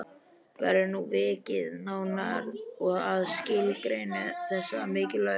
Verður nú vikið nánar að skilgreiningu þessara mikilvægu hugtaka.